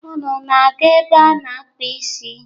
Unu na-aga ebe a na-akpa isi?